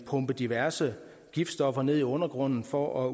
pumper diverse giftstoffer ned i undergrunden for at